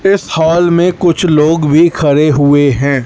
इस हाल में कुछ लोग भी खड़े हुए हैं।